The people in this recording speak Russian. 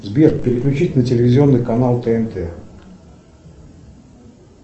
сбер переключить на телевизионный канал тнт